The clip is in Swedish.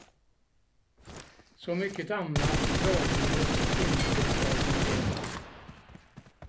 Så mycket annat klargjordes inte av beskedet.